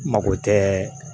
Mako tɛ